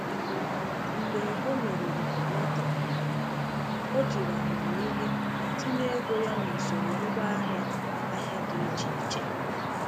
Mgbe o meriri lọtrị, o jiri amamihe tinye ego ya n’usoro ngwaahịa ahịa dị iche iche.